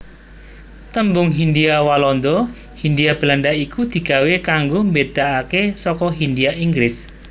Tembung Hindhia Walanda Hindia Belanda iku digawé kanggo mbedakake saka hindhia Inggris